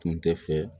Tun tɛ fɛ